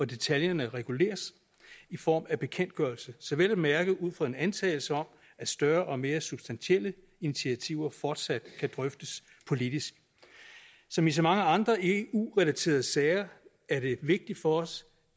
detaljerne reguleres i form af bekendtgørelser vel at mærke ud fra en antagelse om at større og mere substantielle initiativer fortsat kan drøftes politisk som i så mange andre eu relaterede sager er det vigtigt for os